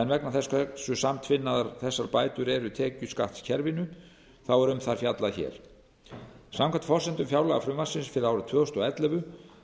en vegna þess hversu samtvinnaðar þessar bætur eru tekjuskattskerfinu er um það fjallað hér samkvæmt forsendum fjárlagafrumvarpsins fyrir árið tvö þúsund og ellefu